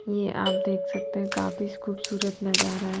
ये आप देख सकते हैं काफी खूबसूरत नजारा है।